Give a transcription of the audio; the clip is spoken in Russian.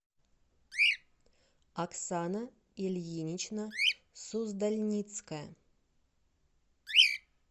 оксана ильинична суздальницкая